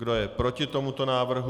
Kdo je proti tomuto návrhu?